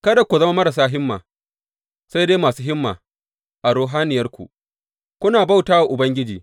Kada ku zama marasa himma, sai dai masu himma a ruhaniyarku, kuna bauta wa Ubangiji.